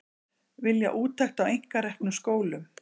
Vilja úttekt á einkareknum skólum